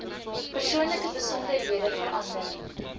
persoonlike besonderhede verander